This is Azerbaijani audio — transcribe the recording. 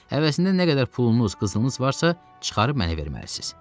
Həvəsində nə qədər pulunuz, qızılınız varsa, çıxarıb mənə verməlisiz.